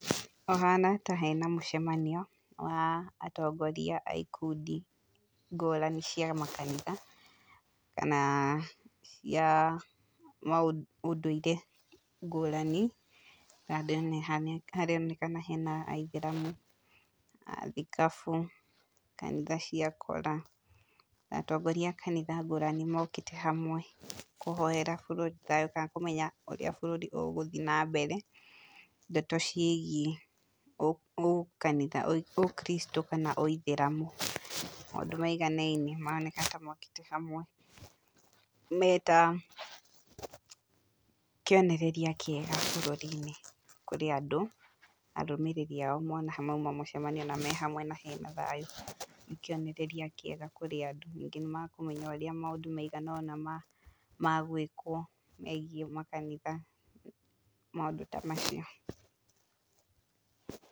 Hahana ta hena mũcemanio wa atongoria a ikundi ngũrani cia makanitha, kana cia ma ũndũire ngũrani, haronekana hena aithĩramu, athikabu, kanitha cia akora nĩ atongoria kanitha ngũrani mokĩte hamwe, kũhoera bũrũri thayu kana kũmenya ũrĩa bũrũri ũgũthiĩ na mbere, ndeto ciĩgie ũkanitha, ũkiricitũ kana ũithĩramu maũndũ maiganainie, maroneka ta mokĩte hamwe meta kĩonereria kĩega bũrũri-inĩ kũrĩ andũ, arũmĩrĩri ao mona mauma mũcemania na me hamwe mena thayũ, nĩ kĩonereria kĩega kũrĩ andũ, ningĩ nĩ makũmenya ũrĩa maũndũ maigana ũna magwĩkwo megiĩ makanitha, maũndũ ta macio.